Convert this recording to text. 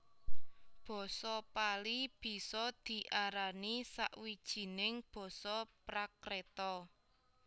Basa Pali bisa diarani sawijning Basa Prakreta